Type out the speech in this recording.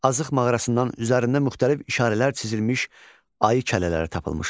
Azıq mağarasından üzərində müxtəlif işarələr çizilmiş ayı kəllələri tapılmışdır.